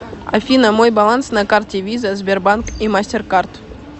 афина мой баланс на карте виза сбербанк и мастеркард